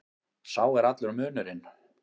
Sá er allur munurinn.